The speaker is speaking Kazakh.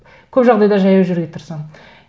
көп жағдайда жаяу жүруге тырысамын